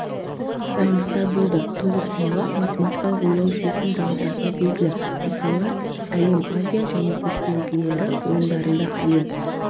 дайындықтар болды тоғызқұмалақ математикалық ойлау жүйесін дамытатыны белгілі мысалы әлем азия және көшпенділері ойындарында астам